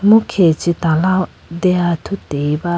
emu khe chee tala deya athuti ba.